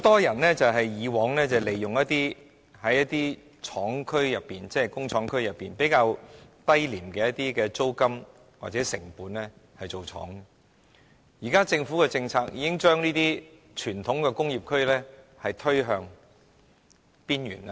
以往很多人能在工廠區以較低廉的租金或成本經營工廠，但現時政府的政策已將傳統工業區推向邊緣。